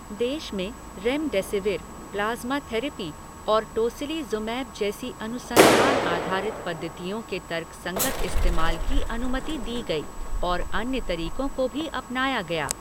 देश में remdesivir, plasma therapy अैर टोसिलीज़ुमैब जैसी अनुसंधान आधारित पद्धतियों के तर्कसंगत इस्तेमाल की अनुमति दी गई और अन्य तरीकों को भी अपनाया गया।